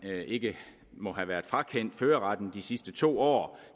ikke må have været frakendt førerretten de sidste to år